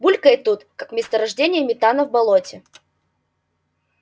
булькает тут как месторождение метана в болоте